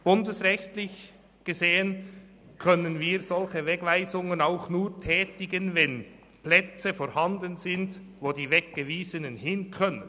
Bundesrechtlich gesehen können wir solche Wegweisungen auch nur tätigen, wenn Plätze vorhanden sind, wo die Weggewiesenen hin können.